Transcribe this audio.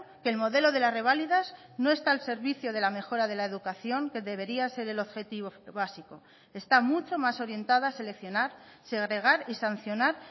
que el modelo de las reválidas no está el servicio de la mejora de la educación que debería ser el objetivo básico está mucho más orientada a seleccionar segregar y sancionar